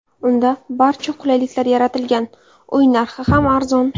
Unda barcha qulayliklar yaratilgan, uy narxi ham arzon.